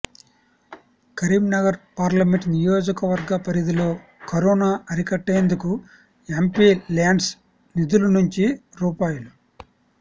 Karimnagar parliament నియోజకవర్గ పరిధిలో corona అరికట్టేందుకు ఎంపీ ల్యాడ్స్ నిధులనుంచి రూ